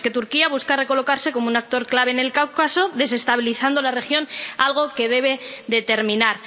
Turquía, que, mientras, busca recolocarse como un actor clave en el Cáucaso desestabilizando la región, algo que debe terminar.